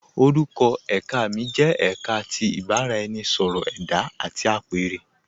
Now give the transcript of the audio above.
Orúkọ èká mi jẹ èká tí ìbàraẹnisọ̀rọ̀ ẹda àti apẹ̀rẹ.